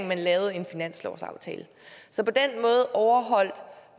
man lavede en finanslovsaftale så på